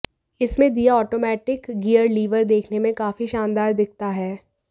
इसमें दिया automatic gear lever देखने में काफी शानदार दिखता है